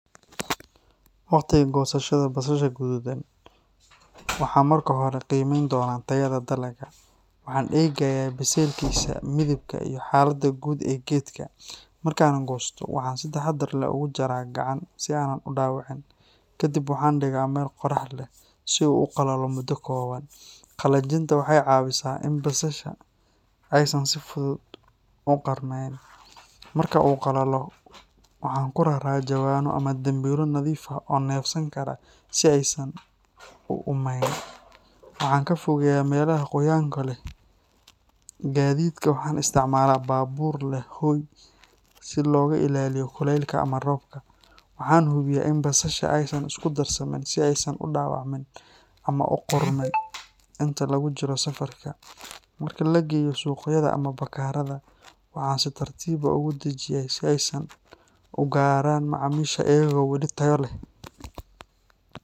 Waqtiga goosashada basasha guduudan, waxaan marka hore qiimeyn doonaa tayada dalagga. Waxaan eegayaa biseylkiisa, midabka, iyo xaaladda guud ee geedka. Marka aan goosto, waxaan si taxaddar leh ugu jaraa gacan si aanan u dhaawicin. Kadib waxaan dhigaa meel qorrax leh si uu u qalalo muddo kooban. Qalajinta waxay caawisaa in basasha aysan si fudud u qarmayn. Marka uu qalalo, waxaan ku raraa jawaano ama dambiilo nadiif ah oo neefsan kara si aysan u uumeyn. Waxaan ka fogeeyaa meelaha qoyaanka leh. Gaadiidka, waxaan isticmaalaa baabuur leh hoy si looga ilaaliyo kulaylka ama roobka. Waxaan hubiyaa in basasha aysan isku darsamin si aysan u dhaawacmin ama u qudhmin inta lagu jiro safarka. Marka la geeyo suuqyada ama bakhaarada, waxaan si tartiib ah uga dajiyaa si ay u gaaraan macaamiisha iyagoo weli tayo leh.